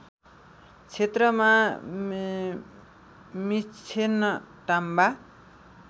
क्षेत्रमा मिक्षेन टाग्पा